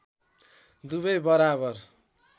दुबै बराबर